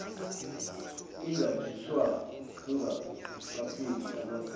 ingakhishwa kungakapheli amaviki